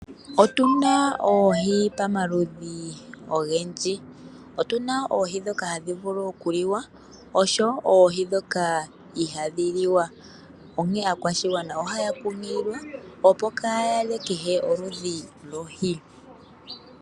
Otuna oohi pamaludhi ogendji. Otuna oohi ndhoka hadhi vulu oku liwa oshowo oohi ndhoka ihadhi liwa, onkene aakwashigwana ohaya kunkililwa opo kaa ya lye kehe oludhi lwohi.